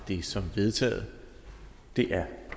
det som vedtaget det er